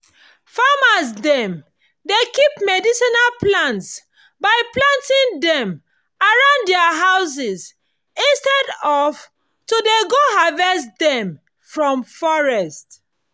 farmers dem dey keep medicinal plants by planting dem around dia houses instead of to dey go harvest dem from forest